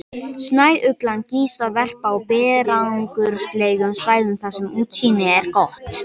Snæuglan kýs að verpa á berangurslegum svæðum þar sem útsýni er gott.